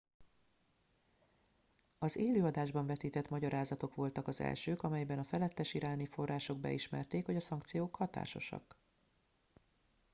az élő adásban vetített magyarázatok voltak az elsők amelyben a felettes iráni források beismerték hogy a szankciók hatásosak